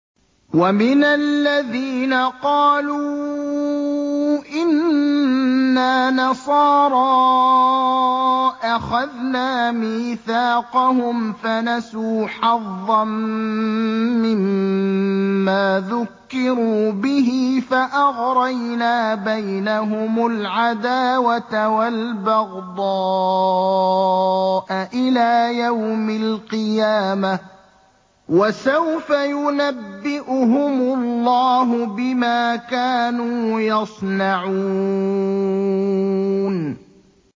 وَمِنَ الَّذِينَ قَالُوا إِنَّا نَصَارَىٰ أَخَذْنَا مِيثَاقَهُمْ فَنَسُوا حَظًّا مِّمَّا ذُكِّرُوا بِهِ فَأَغْرَيْنَا بَيْنَهُمُ الْعَدَاوَةَ وَالْبَغْضَاءَ إِلَىٰ يَوْمِ الْقِيَامَةِ ۚ وَسَوْفَ يُنَبِّئُهُمُ اللَّهُ بِمَا كَانُوا يَصْنَعُونَ